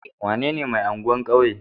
Wanene mai anguwan kauye?